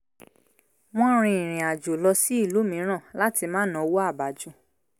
wọ́n rin ìrìn àjò lọ sí ìlú mìíràn láti má náwó à bá jù